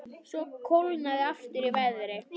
Svo kólnaði aftur í veðri.